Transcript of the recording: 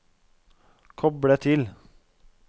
koble til